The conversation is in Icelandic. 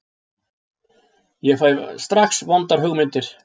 Ég fæ strax vondar hugmyndir.